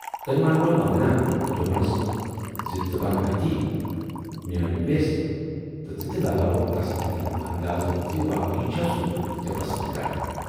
تمٔۍ مٲنۍرٲو وندنا تہٕ دوپنَس ژٕ بَن اَتی میٲنۍ وٮ۪س تہٕ ژٕ تہِ لگاو تسٕندِ دِلُک اندازٕ زِ واقٕے چھا سُہ ژیے پسند کران۔